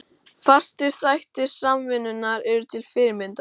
Fastir þættir Samvinnunnar eru til fyrirmyndar.